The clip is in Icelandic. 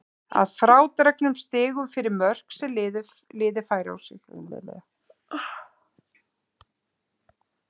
Að frádregnum stigum fyrir mörk sem liðið fær á sig.